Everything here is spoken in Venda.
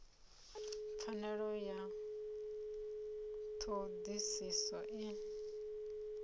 pfanelo ya ṱho ḓisiso i